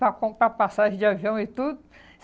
Para comprar passagem de avião e tudo.